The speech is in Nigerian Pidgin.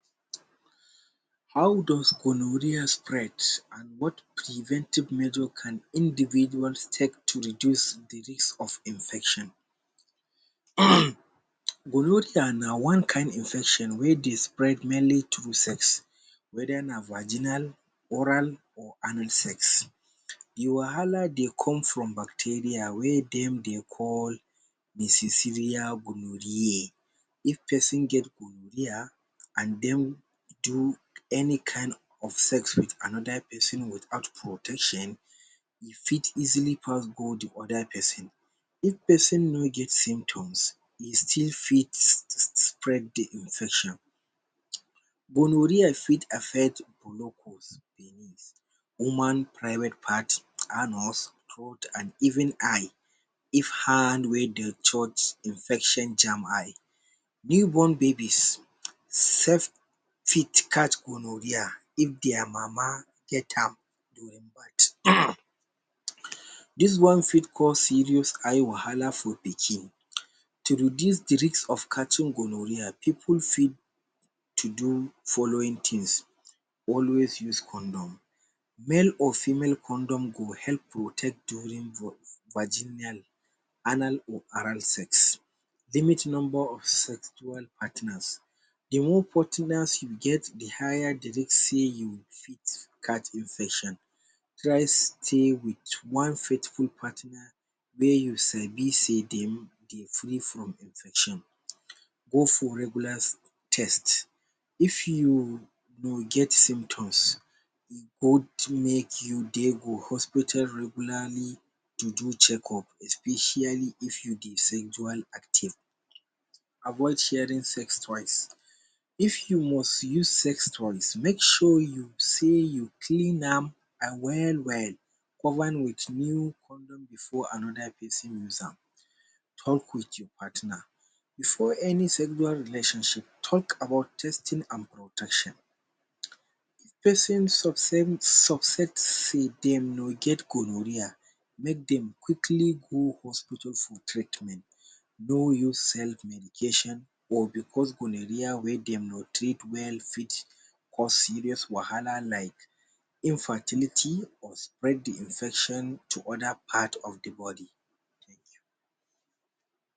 How does gonorrhea spread and what preventive method can individual take to reduce the risk of the infection? um gonorrhea na one kind infection wey dey spread mainly through sex. Whether na vaginal, anal or oral sex. The wahala dey come from the bacteria wey dem dey call……………? If person get gonorrhea and den do any kind of sex with another person without protection, e fit easily pass go the other person. If person no get symptoms e still fit spread the diseases. Gonorrhea fit affect menopause, woman private part, anus, throat and even eye. If hand wey dey touch infection jam eye. New born baby self fit catch gonorrhea if dia mama get am during birth. This one fit cause serious eye wahala for pikin. To reduce the risk of catching gonorrhea pipul fit to do following things: Always use condom: Male or female condom go help protect during vaginal anal or oral sex. Limit number of sexual partners: The more partners you get, the higher the risky you fit catch infection, try stey with one partner wey you sabi sey dem dey free from infection. Go for regular test: if you no get symptoms, or to make you go for hospital regularly to do checkup especially if you dey sexually active Avoid sharing sex……?: if you must use sex…….? twice make sure sey you must clean am well-well cover with new…………….? Before another person use am. Talk with your partner: for any sexual relationship, talk about testing and protection, person success dem no get gonorrhea, make dem quickly go hospital for treatment, no use self medication or because gonorrhea wey dem no treat well fit cause serious wahala like infertility or spread the infection to other part of the body.